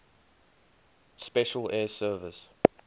special air service